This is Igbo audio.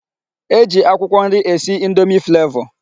E ji akwụkwọ nri esi indomi flavọ.